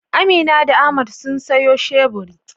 Amina da Ahmad sun sayo shebur.